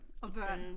Og børn